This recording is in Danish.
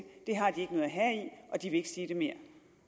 og de vil ikke sige det mere